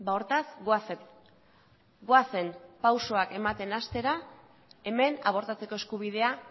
hortaz goazen goazen pausuak ematen hastera hemen abortatzeko eskubidea